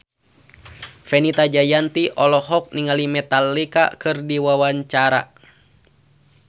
Fenita Jayanti olohok ningali Metallica keur diwawancara